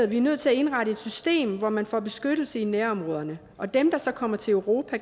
vi er nødt til at indrette et system hvor man får beskyttelse i nærområderne og dem der så kommer til europa